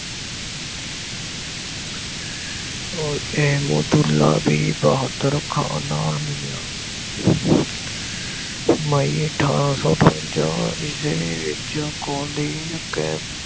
ਇਹਮੋਤੁਰਲਾ ਵੀ ਬਹਾਦਰ ਖਾਨ ਨਾਲ ਮਿਲਿਆ। ਮਈ ਅਠਾਰਾਂ ਸੋੰ ਅਠਵੰਜ਼ਾ ਈਸਵੀ ਵਿੱਚ